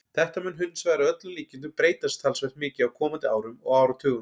Þetta mun hins vegar að öllum líkindum breytast talsvert mikið á komandi árum og áratugum.